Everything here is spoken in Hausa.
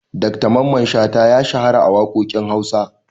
Dr mamman shata ya shahara waƙoƙin Hausa.